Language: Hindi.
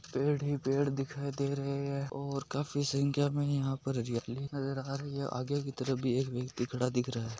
पेड़ ही पेड़ दिखाय दे रहे हे ओर काफी संख्या में यहा पे हरियाली नजर अ रही हे आगे की तरफ एक व्यक्ति खड़ा दिख रहा हे।